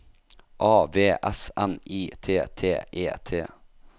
A V S N I T T E T